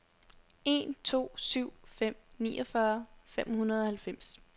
en to syv fem niogfyrre fem hundrede og halvfems